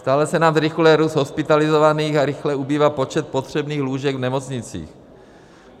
Stále se nám zrychluje růst hospitalizovaných a rychle ubývá počet potřebných lůžek v nemocnicích.